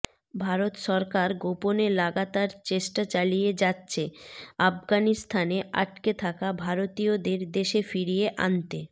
ভারত সরকার গোপনে লাগাতার চেষ্টা চালিয়ে যাচ্ছে আফগাানিস্তানে আটকে থাকা ভারতীয়দের দেশে ফিরিয়ে আনতে